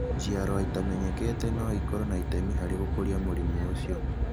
Njiarũa ingĩ itamenyekete no ikorũo na itemi harĩ gũkũria mũrimũ ũcio.